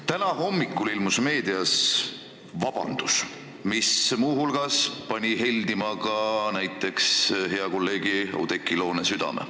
Täna hommikul ilmus meedias vabandus, mis pani teiste hulgas heldima meie hea kolleegi Oudekki Loone südame.